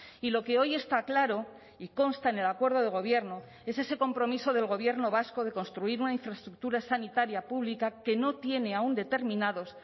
y lo que hoy está claro y consta en el acuerdo de gobierno es ese compromiso del gobierno vasco de construir una infraestructura sanitaria pública que no tiene aún determinados